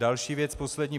Další věc, poslední.